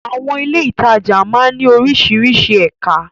Àwọn ilé-ìtajà máa ń ní oríṣiríṣi ẹ̀ka.